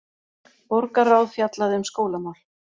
Borgarráð fjallaði um skólamál